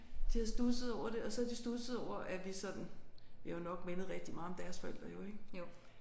De havde studset over det og så havde de studset over at vi sådan vi har jo nok mindet rigtig meget om deres forældre jo ik